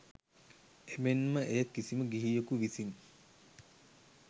එමෙන් ම එය කිසිම ගිහියකු විසින්